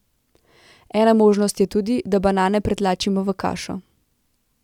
Ena možnost je tudi, da banane pretlačimo v kašo.